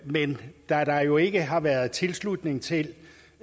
men da der jo ikke har været tilslutning til